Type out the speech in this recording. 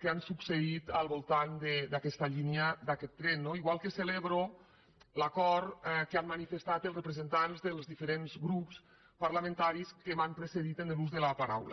que han succeït al voltant d’aquesta línia d’aquest tren no igual que celebro l’acord que han manifestat els representants dels diferents grups parlamentaris que m’han precedit en l’ús de la paraula